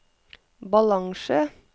balanse